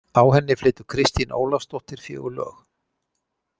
Á henni flytur Kristín Ólafsdóttir fjögur lög.